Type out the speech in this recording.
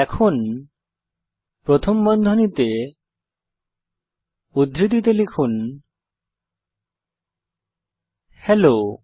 এখন প্রথম বন্ধনীতে উদ্ধৃতিতে লিখুন হেলো